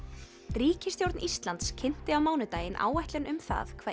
ríkisstjórn Íslands kynnti á mánudaginn áætlun um það hvað